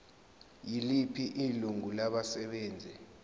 yiliphi ilungu labasebenzi